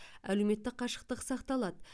әлеуметтік қашықтық сақталады